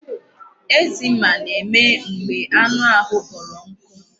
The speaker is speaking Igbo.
Eczema na-eme mgbe anụ ahụ kpọrọ nkụ.